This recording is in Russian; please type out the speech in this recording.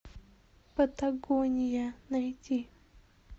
патагония найти